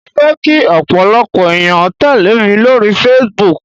Mo fẹ́ kí ọ̀pọ̀lọpọ̀ ẹ̀yàn tẹ́lẹ̀ mi lórí Facebook.